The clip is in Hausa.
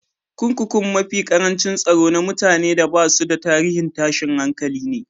Kurkukun mafi karancin tsaro na mutane da basu da tarihin tashin hankali ne.